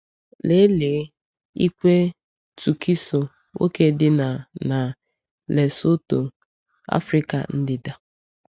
Lelee ikpe Tukiso, nwoke dị na na Lesotho, Afrịka ndịda.